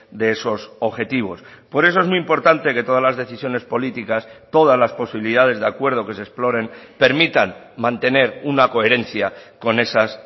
de esos objetivos por eso es muy importante que todas las decisiones políticas todas las posibilidades de acuerdo que se exploren permitan mantener una coherencia con esas